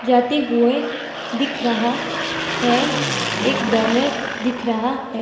जाते हुए दिख रहा है एक बैनर दिख रहा है।